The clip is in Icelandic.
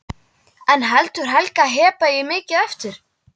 En heldur Helga að Heba eigi mikið eftir?